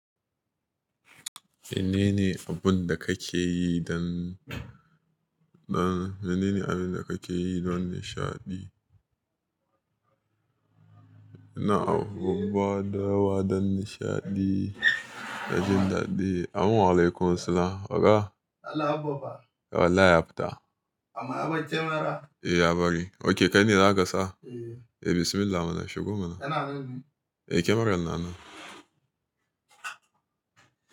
Menene abun da kake yi don, don menene abun da kake yi don nishaɗi? Ina abu, da yawa don nishaɗi, don jin daɗi. Amin, walaikum salam. Waka? Don Allah Abba fa? Wallahi ya fita amma ya bar camera? Eh, ya bari. Ok, kai ne za ka sa? Eh. Eh, bismillah mana shigo mana. Kana nan ne? Eh, kyamarar na nan.